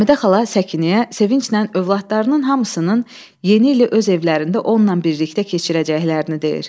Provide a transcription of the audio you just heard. Həmidə xala Səkinəyə sevinclə övladlarının hamısının yeni ili öz evlərində onunla birlikdə keçirəcəklərini deyir.